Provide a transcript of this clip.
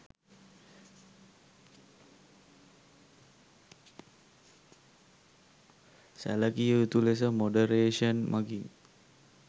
සැලකිය යුතු ලෙස මොඩරේශන් මගින්